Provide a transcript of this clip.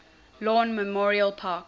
lawn memorial park